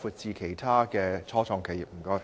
展至其他初創企業。